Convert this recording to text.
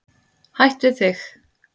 Hætt við þig.